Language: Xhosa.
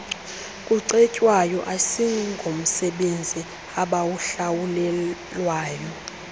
kucetywayo asingomsebenzi abawuhlawulelwayo